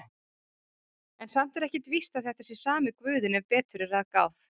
En samt er ekkert víst að þetta sé sami guðinn ef betur er að gáð.